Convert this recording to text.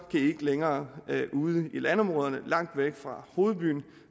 de ikke længere lave lag ude i landområderne langt væk fra hovedbyen